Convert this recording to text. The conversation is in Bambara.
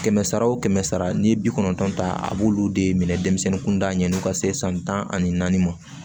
Kɛmɛ sara wo kɛmɛ sara n'i ye bi kɔnɔntɔn ta a b'olu de minɛ denmisɛnnin kunda ɲɛn'u ka se san tan ani naani ma